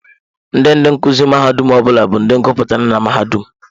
Ndị ndị nkuzi mahadum ọbụla bụ ndị guputara na mahadum.